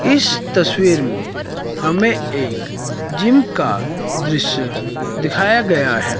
इस तसवीर में हमें एक जिम का दृश्य दिखाया गया है।